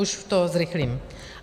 Už to zrychlím.